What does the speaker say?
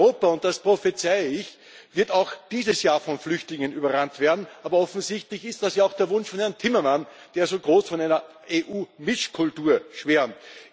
Europa und das prophezeie ich wird auch dieses Jahr von Flüchtlingen überrannt werden, aber offensichtlich ist das ja auch der Wunsch von Herrn Timmerman, der so groß von einer EU Mischkultur schwärmt.